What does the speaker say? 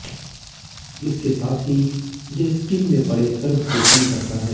इसके साथ ही यह स्किन में पड़े कर्व को कम करता है